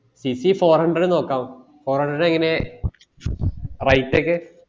CC four hundred നോക്കാം four hundred എങ്ങന rate ഒക്കെ